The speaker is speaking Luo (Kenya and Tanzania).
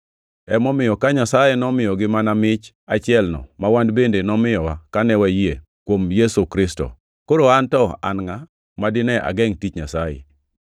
Emomiyo ka Nyasaye nomiyogi mana mich achielno ma wan bende nomiyowa kane wayie kuom Ruoth Yesu Kristo, koro an to an ngʼa ma dine agengʼ tich Nyasaye!”